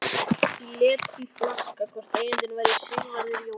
Ég lét því flakka hvort eigandinn væri Sigvarður Jónasson.